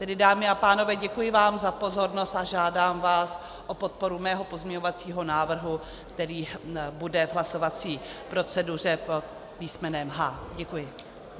Tedy dámy a pánové, děkuji vám za pozornost a žádám vás o podporu svého pozměňovacího návrhu, který bude v hlasovací proceduře pod písmenem H. Děkuji.